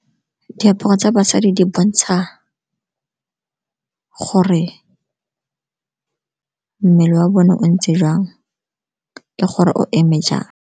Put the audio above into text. Diaparo tsa basadi di bontsha gore mmele wa bone o ntse jang le gore o eme jang.